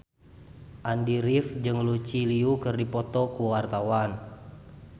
Andy rif jeung Lucy Liu keur dipoto ku wartawan